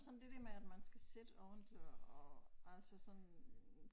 Sådan det der med at man skal sidde ordentligt og altså sådan øh